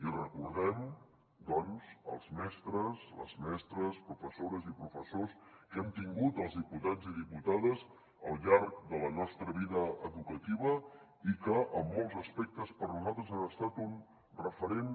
i recordem doncs els mestres les mestres professores i professors que hem tingut els diputats i diputades al llarg de la nostra vida educativa i que en molts aspectes per nosaltres han estat un referent